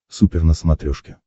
супер на смотрешке